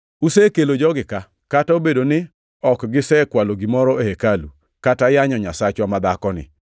Usekelo jogi ka, kata obedo ni ok gisekwalo gimoro e hekalu, kata yanyo nyasachwa madhakoni.